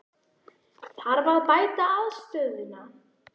Þarf að bæta aðstöðuna?